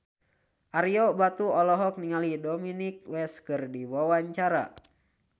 Ario Batu olohok ningali Dominic West keur diwawancara